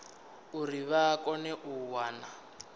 uri vha kone u wana